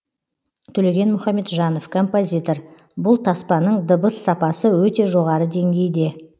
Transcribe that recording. төлеген мұхамеджанов композитор бұл таспаның дыбыс сапасы өте жоғары деңгейде